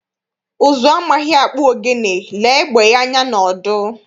Ụzụ amaghị akpụ ogene, lee egbé anya n'ọdụ.